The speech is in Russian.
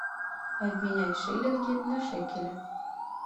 обменять шиллинги на шекели